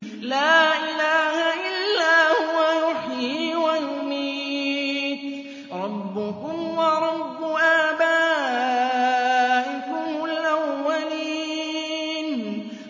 لَا إِلَٰهَ إِلَّا هُوَ يُحْيِي وَيُمِيتُ ۖ رَبُّكُمْ وَرَبُّ آبَائِكُمُ الْأَوَّلِينَ